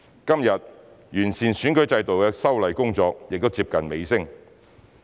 今天，完善選舉制度的修例工作亦接近尾聲。